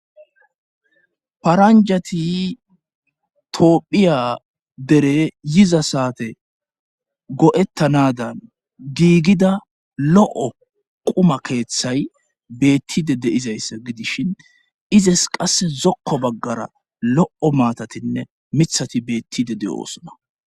paranjati toohphiya dere yiza saate go7ettanadan giigida lo7o quma keeththay beettide deizayssa gidishin izes qasse zokko baggara lo7o maatatinne mithati beettide de oosona